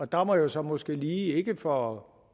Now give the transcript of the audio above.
der må jeg så måske lige ikke for at